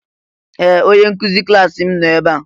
Ee! Onye nkụzi klaasị m nọ ebe a.